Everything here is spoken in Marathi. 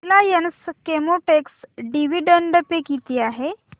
रिलायन्स केमोटेक्स डिविडंड पे किती आहे